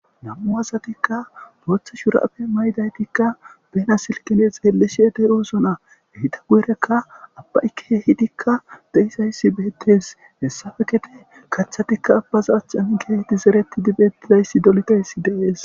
Nam'u asatikka booththo shurabe maydaytikka bena silkene xeellishe de'osona eta guyerakka abbay keehidikka de'izayisat betees hessape gede kaththatikka abbaza achchan keehidi zereti bettidayssi dolidayssi de'es.